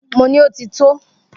Mo ní Ó ti tó!